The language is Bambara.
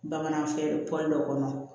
Bamanan fɛn pɔli dɔ kɔnɔ